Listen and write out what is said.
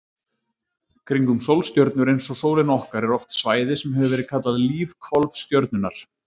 Kringum sólstjörnur eins og sólina okkar er oft svæði sem hefur verið kallað lífhvolf stjörnunnar.